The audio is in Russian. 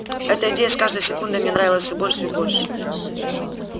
эта идея с каждой секундой мне нравилась все больше и больше